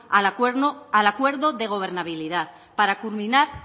al acuerdo de gobernabilidad para culminar